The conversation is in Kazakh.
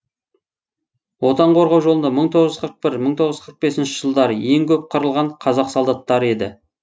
отан қорғау жолында мың тоғыз жүз қырық бір мың тоғыз жүз қырық бесінші жылдары ең көп қырылған қазақ солдаттары еді